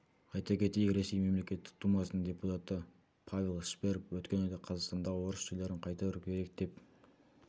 айта кетейік ресей мемлекеттік думасының депутаты павел шперов өткен айда қазақстандағы орыс жерлерін қайтару керек деп